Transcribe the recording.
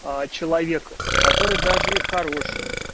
а человек который даже и хороший